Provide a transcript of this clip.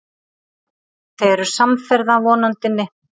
Þau eru samferða Vonandinni.